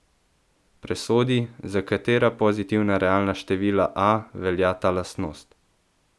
Presodi, za katera pozitivna realna števila a velja ta lastnost.